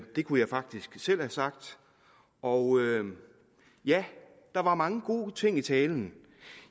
det kunne jeg faktisk selv have sagt og ja der var mange gode ting i talen